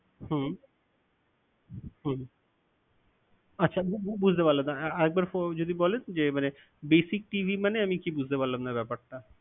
হম আচ্ছা বু~ বুজতে পারলাম না, আরেকবার যদি বলেন যে basic TV মানে, আমি কি বুজতে পারলাম না ব্যপারটা।